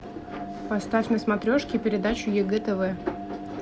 поставь на смотрешке передачу егэ тв